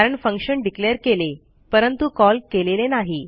कारण function declare केले परंतु कॉल केलेले नाही